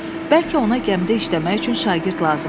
Bəlkə ona gəmidə işləmək üçün şagird lazım oldu.